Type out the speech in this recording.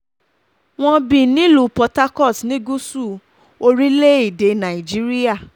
wọ́n bí nílùú port harcourt ní gúúsù orílẹ̀‐èdè nàíjíríà